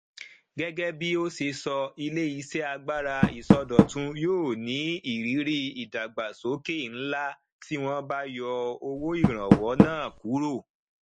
gẹgẹ bí ó ṣe sọ iléiṣẹ agbára ìsọdọtun yóò ní ìrírí ìdàgbàsókè ńlá tí wọn bá yọ owóìrànwọ náà kúrò